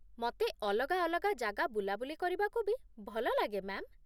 ମତେ ଅଲଗା ଅଲଗା ଜାଗା ବୁଲାବୁଲି କରିବାକୁ ବି ଭଲଲାଗେ, ମ୍ୟା'ମ୍ ।